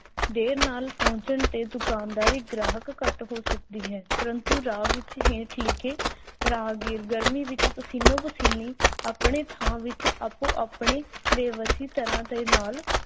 ਦੇਰ ਨਾਲ ਪਹੁੰਚਣ ਤੇ ਦੁਕਾਨਦਾਰੀ ਗ੍ਰਾਹਕ ਘੱਟ ਹੋ ਸਕਦੀ ਹੈ ਪ੍ਰੰਤੂ ਰਾਹ ਵਿਚ ਹੇਠ ਲਿਖੇ ਰਾਹਗੀਰ ਗਰਮੀ ਵਿੱਚ ਪਸੀਨੋ-ਪਸੀਨੀ ਆਪਣੇ ਥਾਂ ਵਿੱਚ ਆਪੋ-ਆਪਣੇ ਬੇਵਸੀ ਦੇ ਨਾਲ